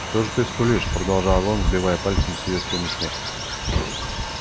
что же ты скулишь продолжал он сбивая пальцем с её спины снег